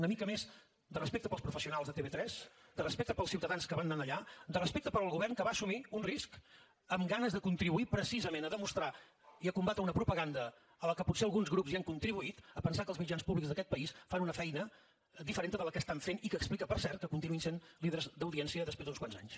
una mica més de respecte pels professionals de tv3 de respecte pels ciutadans que van anar allà de respecte pel govern que va assumir un risc amb ganes de contribuir precisament a demostrar i a combatre una propaganda a la que potser alguns grups hi han contribuït a pensar que els mitjans públics d’aquest país fan una feina diferent de la que estan fent i que explica per cert que continuïn sent líders d’audiència després d’uns quants anys